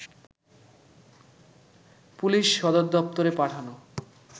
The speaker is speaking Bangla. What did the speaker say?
পুলিশ সদর দপ্তরে পাঠানো